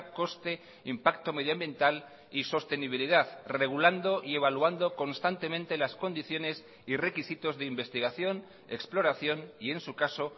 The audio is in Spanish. coste impacto medioambiental y sostenibilidad regulando y evaluando constantemente las condiciones y requisitos de investigación exploración y en su caso